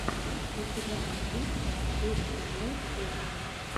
у тебя найдется эстиблэкэсти